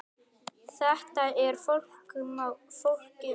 Þetta er ekki flókið mál.